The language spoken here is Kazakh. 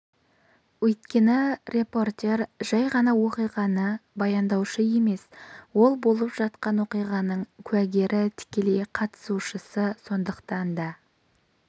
өйткені репортер жай ғана оқиғаны баяндаушы емес ол болып жатқан оқиғаның куәгері тікелей қатысушысы сондықтан да